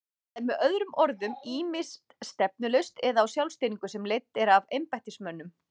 Það er með öðrum orðum ýmist stefnulaust eða á sjálfstýringu sem er leidd af embættismönnum.